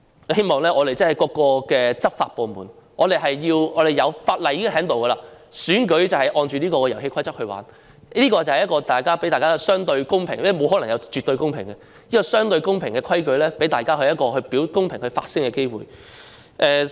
我希望各個執法部門......我們已訂立了相關法例，選舉便應按着這套遊戲規則進行，讓大家有一個相對公平的環境——因為沒有可能有絕對公平——這套規矩能讓大家有一個公平發聲的機會。